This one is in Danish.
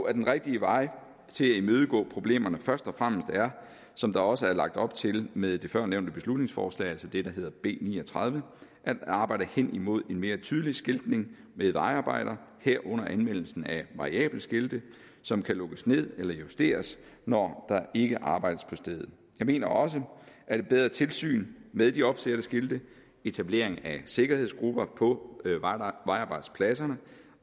at den rigtige vej til at imødegå problemerne først og fremmest er som der også er lagt op til med førnævnte beslutningsforslag altså det der hedder b ni og tredive at arbejde hen imod en mere tydelig skiltning ved vejarbejder herunder anvendelsen af variable skilte som kan lukkes ned eller justeres når der ikke arbejdes på stedet jeg mener også at et bedre tilsyn med de opsatte skilte etablering af sikkerhedsgrupper på vejarbejdspladserne